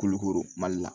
Kolo koro mali la